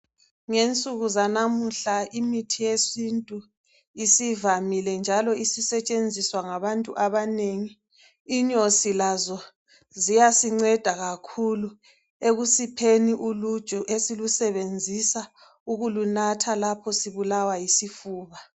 Ngensuku zanamuhla imithi yesintu isivamile njalo isisetshenziswa ngabantu abanengi. Inyosi lazo ziyasinceda kakhulu ekusepheni uluju esilusebenzisa ukulunatha lapho sibulawa yisifuba.